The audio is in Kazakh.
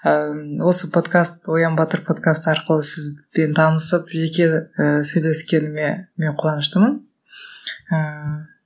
ыыы осы подкаст оян батыр подкаст арқылы сізбен танысып жеке і сөйлескеніме мен қуаныштымын ыыы